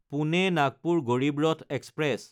Pune-Nagpur Garib Rath express